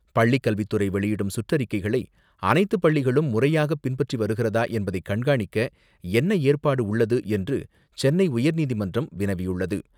பள்ளிக் கல்வித்துறை வெளியிடும் சுற்றறிக்கைகளை அனைத்துப் பள்ளிகளும் முறையாக பின்பற்றி வருகிறதா என்பதைக் கண்காணிக்க என்ன ஏற்பாடு உள்ளது என்று சென்னை உயர்நீதிமன்றம் வினவியுள்ளது.